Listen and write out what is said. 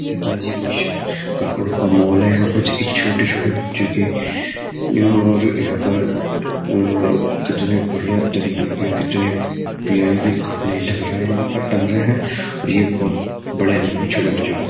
guys यह कुछ कपड़ों का मॉल है यहां पर देखिए छोटे-छोटे बच्चों के और यहां पर अह कितने बढ़िया तरीके के कितने पीआईवी कपड़े लग रहे हैं यहां पर टंग रहे हैं यह बहुत बढ़िया लगेंगे छोटे बच्चों पे --